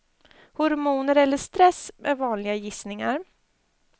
Hormoner eller stress är vanliga gissningar.